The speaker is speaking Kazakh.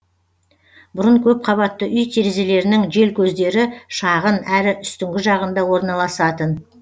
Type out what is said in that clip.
бұрын көпқабатты үй терезелерінің желкөздері шағын әрі үстіңгі жағында орналасатын